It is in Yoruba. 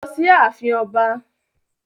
Lọ sí ààfin Ọba.